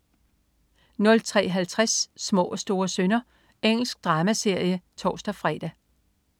03.50 Små og store synder. Engelsk dramaserie (tors-fre)